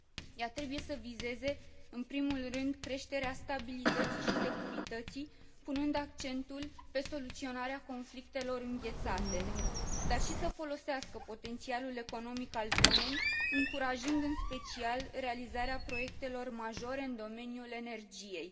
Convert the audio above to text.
Ea trebuie să vizeze în primul rând creșterea stabilității și securității, punând accentul pe soluționarea conflictelor înghețate, dar și să folosească potențialul economic al zonei, încurajând în special realizarea proiectelor majore în domeniul energiei.